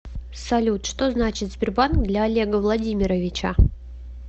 салют что значит сбербанк для олега владимировича